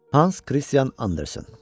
Hans Christian Andersen.